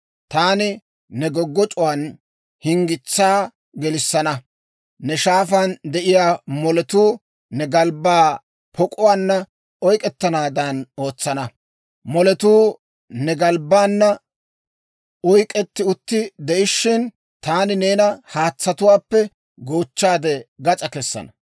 Taani ne goggoc'c'uwaan hinggitsaa gelissana; ne shaafaan de'iyaa moletuu ne galbbaa pok'uwaanna oyk'k'ettanaadan ootsana; moletuu ne galbbaana oyk'k'etti utti de'ishshin, taani neena haatsatuwaappe goochchaade gas'aa kessana.